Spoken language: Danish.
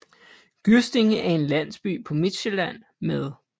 Gyrstinge er en landsby på Midtsjælland med